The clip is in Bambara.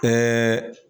Ɛɛ